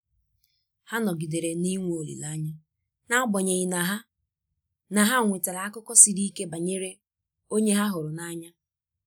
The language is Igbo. Ha nọgidere na i nwe olileanya n'agbanyeghị na ha na ha nwetara akụkọ siri ike banyere onye ha hụrụ n'anya.